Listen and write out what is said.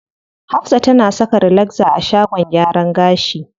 Hafsa tana saka relaxer a shagon gyaran gashi.